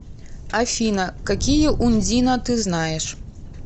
афина какие ундина ты знаешь